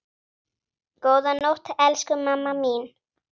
Góða nótt, elsku mamma mín.